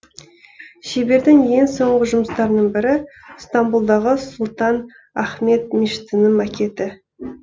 шебердің ең соңғы жұмыстарының бірі стамбұлдағы сұлтан ахмет мешітінің макеті